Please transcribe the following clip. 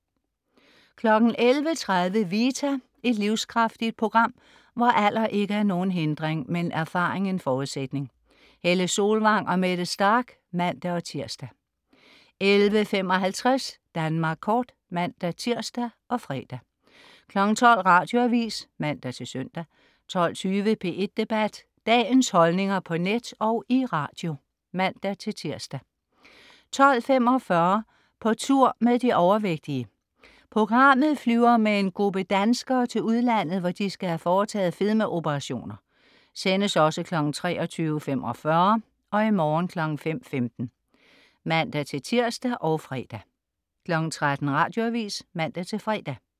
11.30 Vita. Et livskraftigt program, hvor alder ikke er nogen hindring, men erfaring en forudsætning. Helle Solvang og Mette Starch (man-tirs) 11.55 Danmark Kort (man-tirs og fre) 12.00 Radioavis (man-søn) 12.20 P1 Debat. Dagens holdninger på net og i radio (man-tirs) 12.45 På tur med de overvægtige. Programmet flyver med en gruppe danskere til udlandet, hvor de skal have foretaget fedmeoperationer. (Sendes også 23.45 og i morgen 5.15) (man-tirs og fre) 13.00 Radioavis (man-fre)